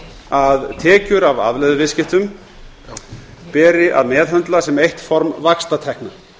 að tekjur af afleiðuviðskiptum beri að meðhöndla sem eitt form vaxtatekna